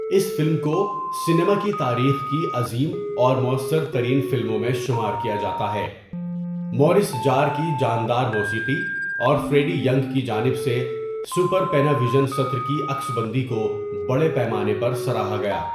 اس film کو cinema کی تاریخ کی عظیم اور موثر ترین فلموں میں شمار کیا جاتا ہے مورس جار کی جاندار موسیقی اور فریڈی ینگ کی جانب سے سپر پیناوِژن ستر کی عکس بندی کو بڑے پیمانے پر سراہا گیا.